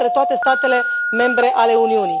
în toate statele membre ale Uniunii.